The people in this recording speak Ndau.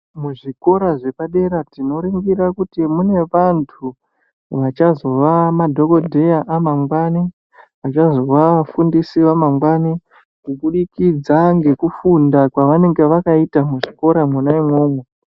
Muzvikora zvepadera tinoningira kuti mune vantu vachazova madhokodheya amangwani achazova afundisi amangwani kubudikidza ngekufunda kwaanenge akaita muzvikora mwona imwomwo.